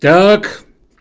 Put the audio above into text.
так